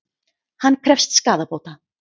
Hann krefst skaðabóta